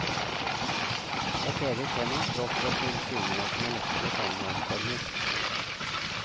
Et evig tema, tross vår tids tilsynelatende lettere samværsformer.